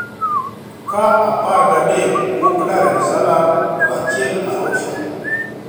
ka apar gadek wuok Dar-es-salaam to achiel to a Arusha.